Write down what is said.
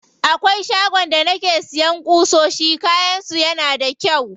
Akwai shagon da nake siya ƙusoshi, kayan su yana da kyau.